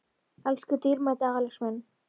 Elsku dýrmæti Axel minn.